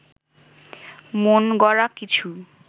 মনগড়া কিছু